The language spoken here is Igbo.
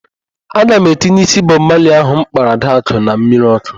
Aga m etinye ísí Bọb Mali ahụ m kpara Adakụ na mmiri ọ́kụ́.